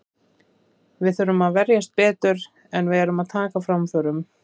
Við þurfum að verjast betur, en við erum að taka framförum.